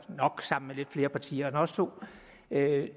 nok sammen med lidt flere partier end vores to vil